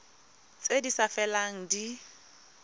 tse di sa felelang di